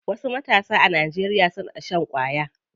Wasu matasa a Najeriya na shan ƙwaya.